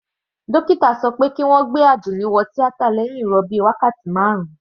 Dókítà sọ pé kí wọ́n gbé Àdùnní wo tíátà lẹ́hìn ìrọbí wákàtí marun.